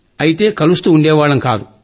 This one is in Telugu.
అయితే కలుస్తూ ఉండేవాళ్లం కాదు